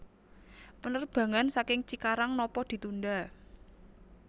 Penerbangan saking Cikarang nopo ditunda